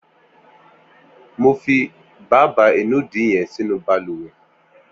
Mò fi bàbá inùdí yèn sinú bàlùwẹ̀